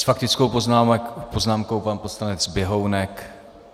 S faktickou poznámkou pan poslanec Běhounek.